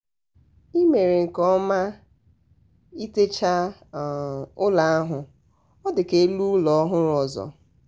ị um mere nkeọma ị techa elu ụlọ ahụ ọ dị ka elu ụlọ ọhụrụ ọzọ.